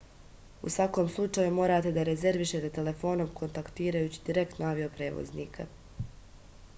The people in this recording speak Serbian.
u svakom slučaju morate da rezervišete telefonom kontaktirajući direktno avio-prevoznika